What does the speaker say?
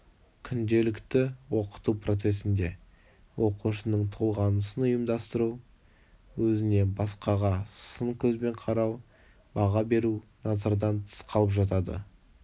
күнделікті оқыту процесінде оқушының толғанысын ұйымдастыру өзіне басқаға сын көзбен қарау баға беру назардан тыс қалып жатады